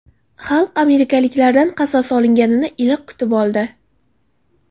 Xalq amerikaliklardan qasos olinganini iliq kutib oldi.